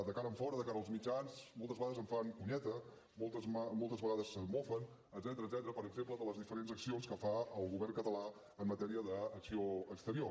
de cara enfora de cara als mitjans moltes vegades en fan conyeta moltes vegades es mofen etcètera per exemple de les diferents accions que fa el govern català en matèria d’acció exterior